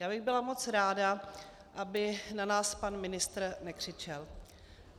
Já bych byla moc ráda, aby na nás pan ministr nekřičel.